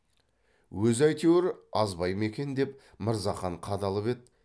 өзі әйтеуір азбай ма екен деп мырзахан қадалып еді